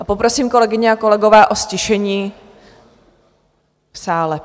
A poprosím, kolegyně a kolegové, o ztišení v sále.